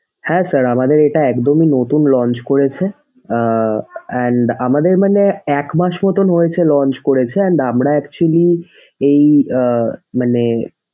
হ্যাঁ sir আমাদের এটা একদম নতুন launch করেছে। আহ and আমাদের মানে এক মাস মত হয়েছে launch করেছে। and আমরা actually এই আহ মানে,